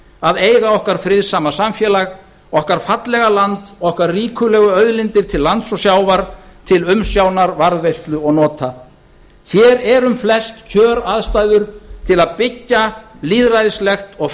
að eiga okkar friðsama samfélag okkar fallega land okkar ríkulegu auðlindir til lands og sjávar til umsjónar varðveislu og nota hér er um flest kjöraðstæður til að byggja lýðræðislegt og